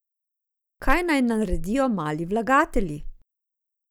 Kaj naj naredijo mali vlagatelji?